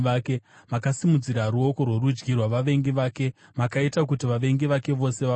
Makasimudzira ruoko rworudyi rwavavengi vake; makaita kuti vavengi vake vose vafare.